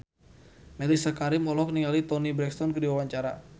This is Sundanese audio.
Mellisa Karim olohok ningali Toni Brexton keur diwawancara